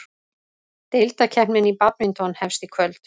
Deildakeppnin í badminton hefst í kvöld